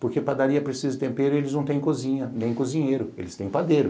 Porque padaria precisa de tempero e eles não têm cozinha, nem cozinheiro, eles têm padeiro.